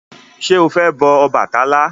Ṣé o fẹ́ bọ Ọbàtálá?